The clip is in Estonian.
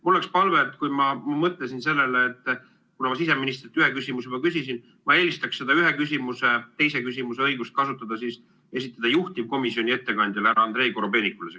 Mul on palve: ma mõtlesin sellele, et kuna ma siseministrilt ühe küsimuse juba küsisin, siis ma eelistaksin teise küsimuse õigust kasutada juhtivkomisjoni ettekandjale härra Andrei Korobeinikule.